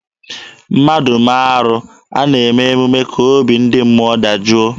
Mmadụ mee arụ, a na-eme emume ka obi ndị mmụọ dajụọ.